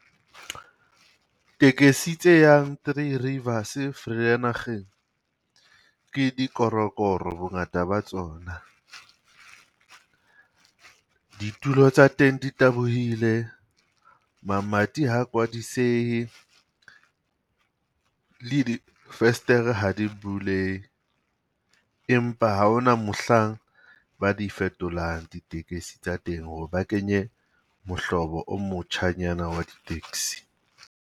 Tekesi tse yang Three Rivers Vereeniging, ke di korokoro bongata ba tsona. Ditulo tsa teng di tabohile, mamati ha kwadisehe, le di festere ha di bulehe. Empa ha hona mohlang ba di fetolang ditekese tsa teng ho re ba kenye mohlobo o motjhanyana wa di tekesi.